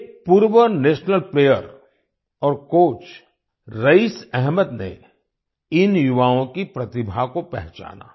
एक पूर्व national player और कोच रईस एहमद ने इन युवाओं की प्रतिभा को पहचाना